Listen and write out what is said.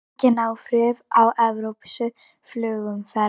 Engin áhrif á evrópska flugumferð